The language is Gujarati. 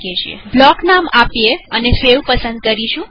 ચાલો બ્લોક નામ આપીએ અને સેવ પસંદ કરીએ